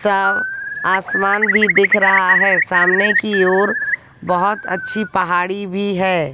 सब आसमान भी दिख रहा है सामने की ओर बहोत अच्छी पहाड़ी भी है।